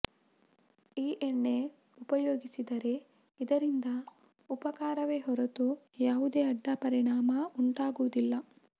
ಈ ಎಣ್ಣೆ ಉಪಯೋಗಿಸಿದರೆ ಇದರಿಂದ ಉಪಕಾರವೇ ಹೊರತು ಯಾವುದೇ ಅಡ್ಡಪರಿಣಾಮ ಉಂಟಾಗುವುದಿಲ್ಲ